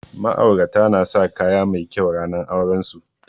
Ma'aurata na sa kaya mai kyau ranar auren su